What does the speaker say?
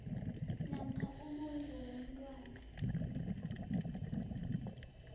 namkha umondli womntwana